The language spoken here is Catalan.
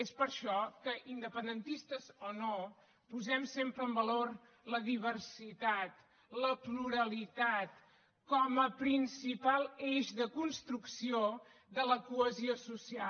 és per això que independentistes o no posem sempre en valor la diversitat la pluralitat com a principal eix de construcció de la cohesió social